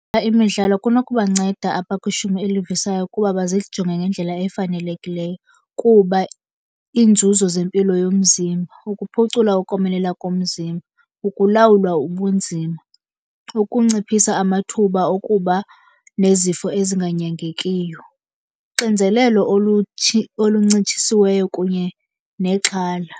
Imidlalo kunokubanceda abakwishumi elivisayo ukuba bazijonge ngendlela efanelekileyo. Kuba iinzuzo zempilo yomzimba, ukuphucula ukomelela komzimba, ukulawulwa ubunzima, ukunciphisa amathuba okuba nezifo ezinganyangekiyo, uxinzelelo oluncitshisiweyo kunye nexhala.